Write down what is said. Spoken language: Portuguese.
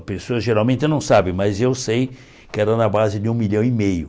A pessoa geralmente não sabe, mas eu sei que era na base de um milhão e meio.